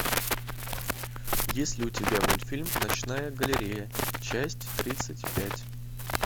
есть ли у тебя мультфильм ночная галерея часть тридцать пять